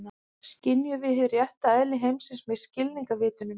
Skynjum við hið rétta eðli heimsins með skilningarvitunum?